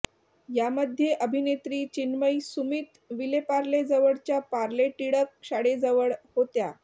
यामध्ये अभिनेत्री चिन्मयी सुमित विलेपार्लेजवळच्या पार्ले टिळक शाळेजवळ होत्या